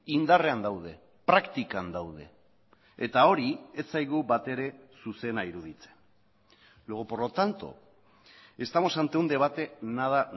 indarrean daude praktikan daude eta hori ez zaigu batere zuzena iruditzen luego por lo tanto estamos ante un debate nada